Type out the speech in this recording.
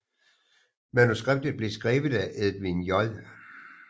Manuskriptet blev skrevet af Edwin J